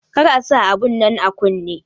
Kar ka sa abun nan a kunne!